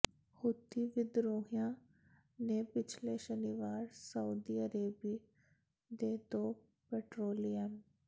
Houthi ਵਿਦਰੋਹੀਆਂ ਨੇ ਪਿਛਲੇ ਸ਼ਨੀਵਾਰ ਸਊਦੀ ਅਰਬ ਦੇ ਦੋ ਪੈਟਰੋਲੀਐਮ